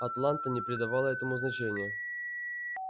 атланта не придавала этому значения